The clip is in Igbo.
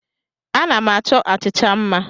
Ana m achọ achịcha mma.